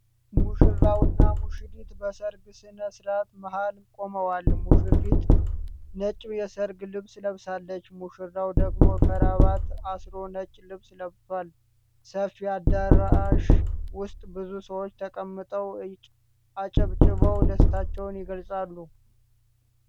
ሙሽራውና ሙሽሪት በሠርግ ሥነ ሥርዓት መሃል ቆመዋል። ሙሽሪት ነጭ የሠርግ ልብስ ለብሳለች፣ ሙሽራው ደግሞ ክራባት አስሮ ነጭ ልብስ ለብሷል። ሰፊ አዳራሽ ውስጥ ብዙ ሰዎች ተቀምጠው አጨብጭበው ደስታቸውን ይገልጻሉ።